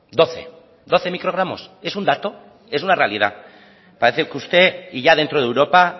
doce doce microgramos es un dato es una realidad parece que usted y ya dentro de europa